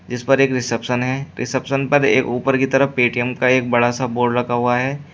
इस पर एक रिसेप्शन है रिसेप्शन पर एक ऊपर की तरफ पेटीएम का एक बड़ा सा बोड लगा हुआ है।